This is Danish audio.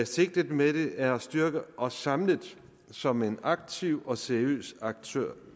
sigtet med det er at styrke og samle som aktiv og seriøs aktør